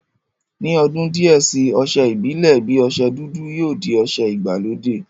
Ni odun díẹ̀ si, ọsẹ ìbílè bi ọsẹ dúdú yóò di ọsẹ ìgbàlódé